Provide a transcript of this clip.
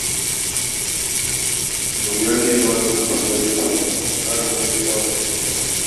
Da wuya ni da Malam Musa Lebura mu samu ƙarin matsayi a wannan shekarar.